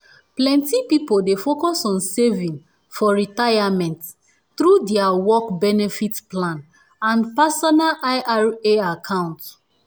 plenti people dey focus on saving for retirement through dia work benefit plans and personal i r a account